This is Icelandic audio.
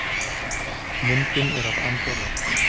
Myndin er af Andorra.